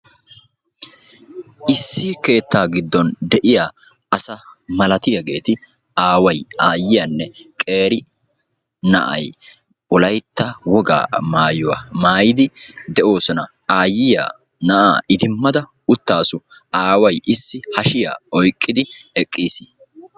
Issi keettaa giddon de'iyaa asaa malatiyaageeti aaway, aayyiyaanne qeeri na a'ay wolaytta woga maayuwa maayidi de'oosona. Aayyiya na'aa idimmada uttaasu, aaway issi hashiya oyqqidi eqqiis.